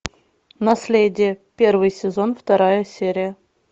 наследие первый сезон вторая серия